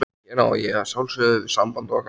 Hér á ég að sjálfsögðu við samband okkar.